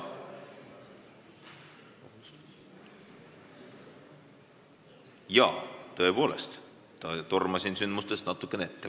Jaa, tõepoolest, tormasin sündmustest natukene ette.